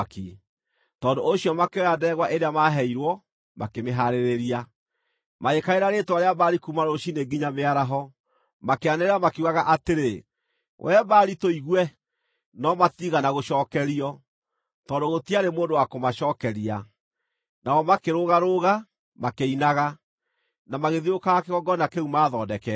Tondũ ũcio makĩoya ndegwa ĩrĩa maaheirwo makĩmĩhaarĩria. Magĩkaĩra rĩĩtwa rĩa Baali kuuma rũciinĩ nginya mĩaraho, makĩanĩrĩra makiugaga atĩrĩ, “Wee Baali tũigue!” No matiigana gũcookerio, tondũ gũtiarĩ mũndũ wa kũmacookeria. Nao makĩrũgarũga, makĩinaga, na magĩthiũrũrũkaga kĩgongona kĩu maathondekete.